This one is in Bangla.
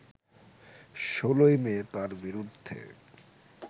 ১৬ই মে তার বিরুদ্ধে